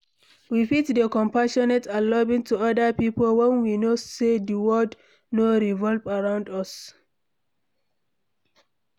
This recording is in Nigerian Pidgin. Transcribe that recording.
We fit dey compassionate and loving to oda pipo when we know sey di world no revolve around us